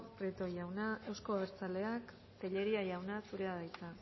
prieto jauna euzko abertzaleak tellería jauna zurea da hitza